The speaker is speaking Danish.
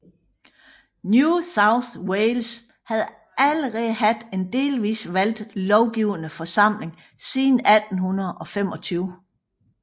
New South Wales havde allerede haft en delvis valgt lovgivende forsamling siden 1825